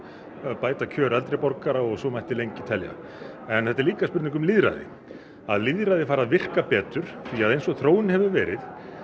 bæta kjör eldri borgara og svo mætti lengi telja en þetta er líka spurning um lýðræði að lýðræðið fari að virka betur því að eins og þróunin hefur verið